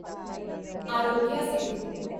Aarogya Setu